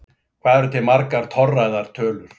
Hvað eru til margar torræðar tölur?